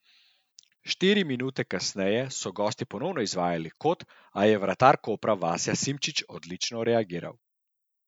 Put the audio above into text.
Štiri minute kasneje so gostje ponovno izvajali kot, a je vratar Kopra Vasja Simčič odlično reagiral.